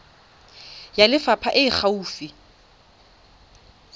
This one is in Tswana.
ya lefapha e e gaufi